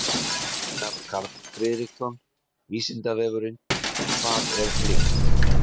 Einar Karl Friðriksson: Vísindavefurinn: Hvað er lykt?